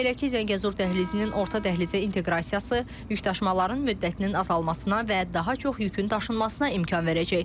Belə ki, Zəngəzur dəhlizinin orta dəhlizə inteqrasiyası, yükdaşımaların müddətinin azalmasına və daha çox yükün daşınmasına imkan verəcək.